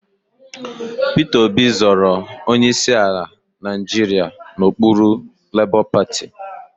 Peter Obi zọrọ onyeisi ala Nigeria n'okpuru labour party